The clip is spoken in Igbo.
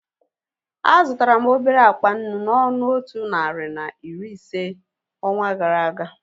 A zụtara m obere akpa nnu n'ọnụ otu narị na iri ise onwa gara aga